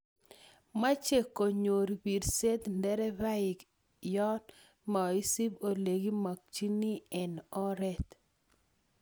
meche konyor birset nderefainik yoo maisup olegimakchini eng oret